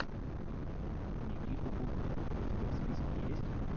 никита бублик у тебя в списке есть